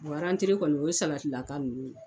Bɔ rantre kɔni o ye sabatila ka ninnu ye.